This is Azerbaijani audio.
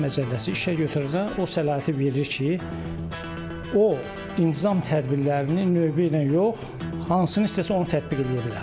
Əmək Məcəlləsi işəgötürənə o səlahiyyəti verir ki, o intizam tədbirlərini növbə ilə yox, hansını istəsə, onu tətbiq eləyə bilər.